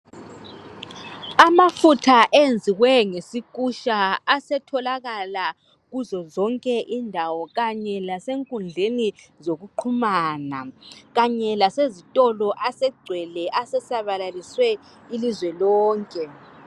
Amafutha enziwe ngesikutsha asetholakala kuzo zonke indawo kanye lasenkundleni zokuxhuamana kanye lasezitolo asegcwele asesabalalisiwe ilizwe lonke